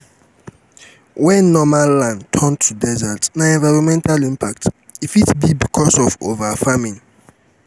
when normal land turn to desert na environmental impact e fit be because of over farming